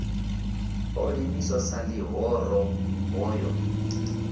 o ḓiimisa sa ḽihoro hoyo